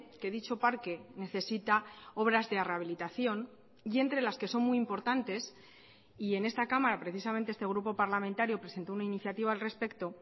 que dicho parque necesita obras de rehabilitación y entre las que son muy importantes y en esta cámara precisamente este grupo parlamentario presentó una iniciativa al respecto